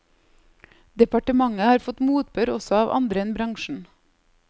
Departementet har fått motbør også av andre enn bransjen.